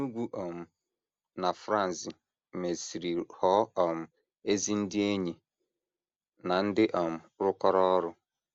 Enugu um na Franz mesịrị ghọọ um ezi ndị enyi na ndị um rụkọrọ ọrụ.